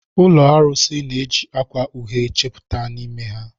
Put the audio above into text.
Ụlọ arụsị na-eji akwa uhie chepụta n'ime ha.